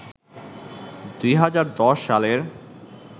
২০১০ সালের